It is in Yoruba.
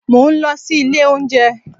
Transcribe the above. Mò ń lọ sí ilé-oúnjẹ́